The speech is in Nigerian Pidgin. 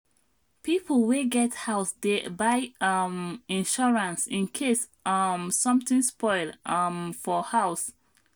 people wey get house dey buy um insurance in case um something spoil um for house